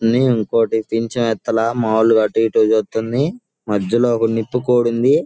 ని ఇంకోటి పింఛమెత్తలా మామూలుగా అటు ఇటు చూస్తుంది. మధ్యలో ఒక నిప్పుకోడి ఉంది.